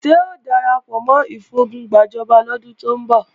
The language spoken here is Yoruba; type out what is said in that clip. Ṣé o darapọ̀ mọ́ ìfogun gbàjọba lọ́dún tó ń bọ̀?